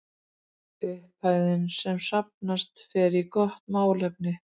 Upphæðin sem safnast fer í gott málefni.